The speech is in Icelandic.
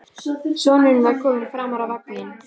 Sonurinn var kominn framar í vagninn.